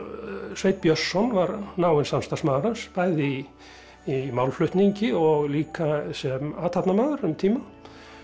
Sveinn Björnsson var náinn samstarfsmaður hans bæði í málflutningi og líka sem athafnamaður um tíma